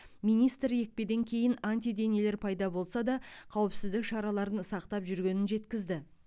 министр екпеден кейін антиденелер пайда болса да қауіпсіздік шараларын сақтап жүргенін жеткізді